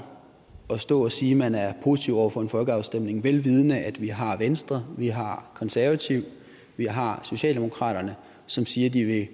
at stå og sige at man er positive over for en folkeafstemning vel vidende at vi har venstre vi har konservative vi har socialdemokratiet som siger at de